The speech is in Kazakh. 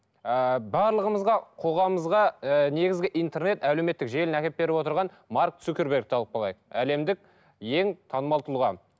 ыыы барлығымызға қоғамымызға ы негізгі интернет әлеуметтік желіні әкеліп беріп отырған марк цукгербергті алып әлемдік ең танымал тұлға